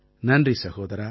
நன்றி சகோதரா